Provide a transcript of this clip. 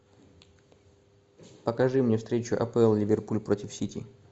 покажи мне встречу апл ливерпуль против сити